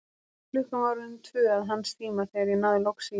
Klukkan var orðin tvö að hans tíma, þegar ég náði loks í hann.